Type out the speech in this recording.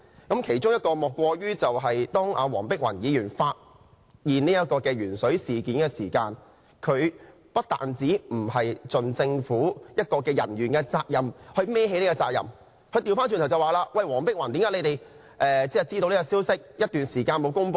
最佳例子莫過於當黃碧雲議員揭發鉛水事件的時候，馮煒光不單沒有做政府人員應做的事，去承擔責任，反過來說："黃碧雲議員，為何你們知道這個消息一段時間都沒有公布？